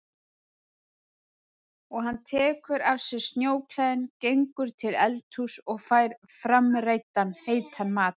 Og hann tekur af sér snjóklæðin, gengur til eldhúss og fær framreiddan heitan mat.